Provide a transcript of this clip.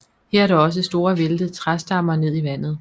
Her er der også store væltede træstammer ned i vandet